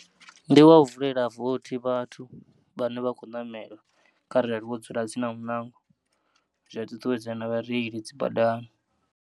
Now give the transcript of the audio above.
Ndi wa u vulela vothi vhathu vhane vha khou namela kharali wo dzula tsini na munango, zwia ṱuṱuwedza na vhareili dzi badani.